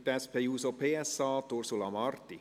Für die SP-JUSO-PSA spricht Ursula Marti.